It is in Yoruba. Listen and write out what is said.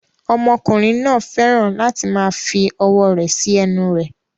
Ọmọkùnrin náà fẹ́ràn láti máa fi ọwọ́ rẹ̀ sí ẹnu rẹ̀